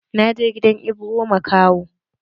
Na je gidan Ibro makaho.